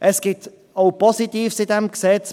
Es gibt auch Positives in diesem Gesetz.